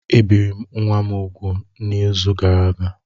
Ebiri m nwa m úgwù n'izu gara aga